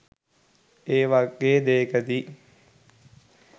ඒ වගේ දේකදි.